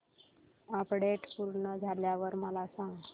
update पूर्ण झाल्यावर मला सांग